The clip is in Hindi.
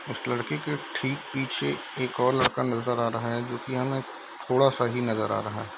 इस लड़के के ठीक पीछे एक और लड़का नजर आ रहा है जो की हमें थोड़ा सा ही नजर आ रहा है।